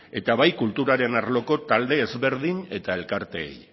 eta bai kulturaren arloko talde ezberdin eta elkarteei